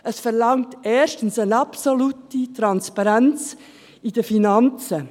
Es verlangt erstens eine absolute Transparenz in den Finanzen.